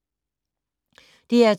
DR2